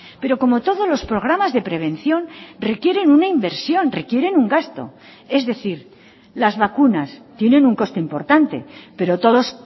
pero como todos los programas de prevención requieren una inversión requieren un gasto es decir las vacunas tienen un costo importante pero todos